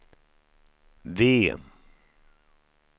V